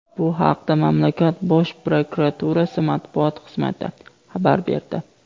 Bu haqda mamlakat Bosh prokuraturasi matbuot xizmati xabar berdi.